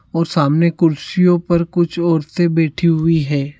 और सामने कुर्सियों पर कुछ औरते बैठी हुई है।